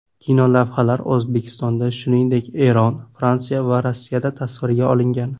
Kinolavhalar O‘zbekistonda, shuningdek, Eron, Fransiya va Rossiyada tasvirga olingan.